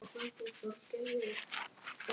Ég reyni þó að hugsa ekki um það.